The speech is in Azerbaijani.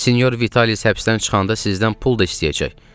Sinyor Vitalis həbsdən çıxanda sizdən pul da istəyəcək.